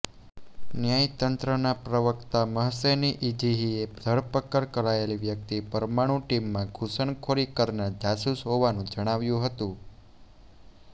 ન્યાયતંત્રના પ્રવક્તા Mohseni Ejei ધરપકડ કરાયેલી વ્યક્તિ પરમાણુ ટીમમાં ઘૂસણખોરી કરનાર જાસૂસ હોવાનું જણાવ્યું હતું